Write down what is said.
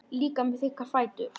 Líka með þykka fætur.